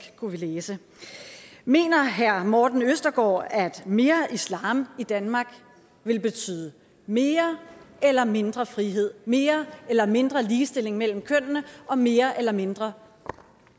kunne vi læse mener herre morten østergaard at mere islam i danmark vil betyde mere eller mindre frihed mere eller mindre ligestilling mellem kønnene og mere eller mindre